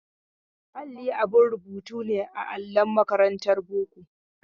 Alli abin rubutu ne a allon makarantar boko.